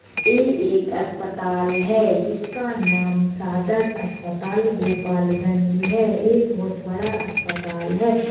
ए एक अस्पताल है जिसका नाम सादर अस्पताल गोपाल गंज है। ए बहोत बड़ा अस्पताल है।